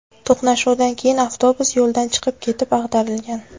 To‘qnashuvdan keyin avtobus yo‘ldan chiqib ketib, ag‘darilgan.